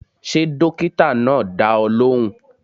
Ṣé dókítà náà dá ọ lóhùn?